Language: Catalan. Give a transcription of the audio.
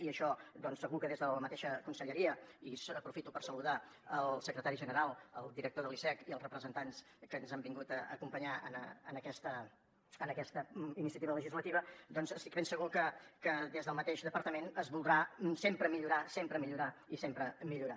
i això segur que des de la mateixa conselleria i aprofito per saludar el secretari general el director de l’icec i els representants que ens han vingut a acompanyar en aquesta iniciativa legislativa doncs estic ben segur que des del mateix departament es voldrà sempre millorar i sempre millorar